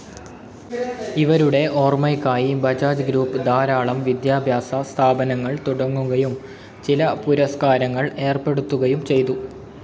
ഇവരുടെ ഓർമ്മയ്ക്കായി ബജാജ് ഗ്രൂപ്പ്‌ ധാരാളം വിദ്യാഭ്യാസസ്ഥാപനങ്ങൾ തുടങ്ങുകയും ചില പുരസ്കാരങ്ങൾ ഏർപ്പെടുത്തുകയും ചെയ്തു.